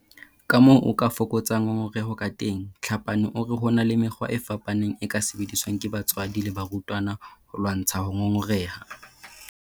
Kamoo o ka fokotsang ngongoreho kateng Tlhapane o re ho na le mekgwa e fapaneng e ka sebediswang ke batswadi le barutwana ho lwantsha ho ngongoreha.